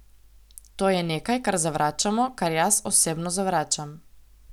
To je nekaj, kar zavračamo, kar jaz osebno zavračam.